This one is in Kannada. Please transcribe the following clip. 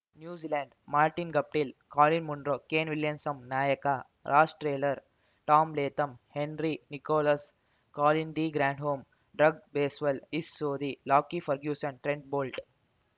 New Zealand Martin Guptill Colin Munro Kane ವಿಲಿಯನ್ನಂ ನಾಯಕ Ross Taylor Tom Latham Henry Nicholls Colin de Grandhomme Doug Bracewell Ish Sodhi Lockie Ferguson Trent bolt